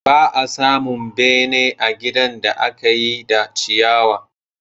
Ba a samun bene a ginin da aka yi da ciyawa.